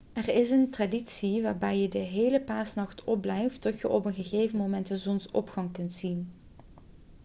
er is een traditie waarbij je de hele paasnacht opblijft tot je op een gegeven moment de zonsopgang kunt zien